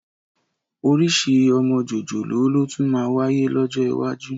Orísìí ọmọ jòjòló ló tún máa wáyé lọ́jọ́ iwájú